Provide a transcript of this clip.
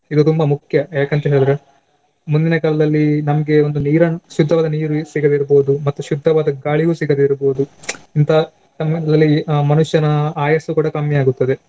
ಇದು ತುಂಬಾ ಮುಖ್ಯ ಯಾಕಂತ ಹೇಳಿದ್ರೆ ಮುಂದಿನ ಕಾಲದಲ್ಲಿ ನಮ್ಗೆ ಒಂದು ನೀರನ್ನ್ ಶುದ್ದವಾದ ನೀರು ಎಲ್ಲಿ ಸಿಗದಿರ್ಬೋದು ಮತ್ತೆ ಶುದ್ದವಾದ ಗಾಳಿಯೂ ಸಿಗದಿರ್ಬೋದು ಅಂತಹ ಆ ಮನುಷ್ಯನ ಆಯಸ್ಸು ಕೂಡ ಕಮ್ಮಿಯಾಗುತ್ತದೆ.